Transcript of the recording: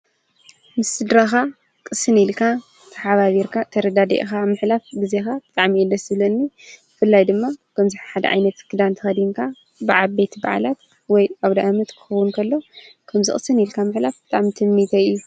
ምስድረኻ ቕስን ኢልካ ተሓባቢርካ ተርዳድኢኻ ምሕላፍ ጊዜኻ ጠዕሚእደስለኒ ፍላይ ድማ ከምዘሓድ ኣይነትፍክዳን ተኸዲንካ በዓ ቤት በዓላት ወይ ኣው ዳኣመት ክኹንከሎ ከምዝ ቕስን ኢልካ ምሕላፍ ላዕም ትንሚተኢሎ